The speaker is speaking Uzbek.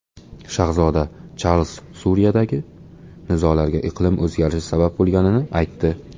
Shahzoda Charlz Suriyadagi nizolarga iqlim o‘zgarishi sabab bo‘lganini aytdi.